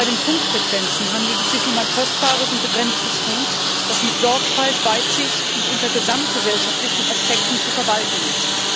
Bei den Funkfrequenzen handelt es sich um ein kostbares und begrenztes Gut, das mit Sorgfalt, Weitsicht und unter gesamtgesellschaftlichen Aspekten zu verwalten ist.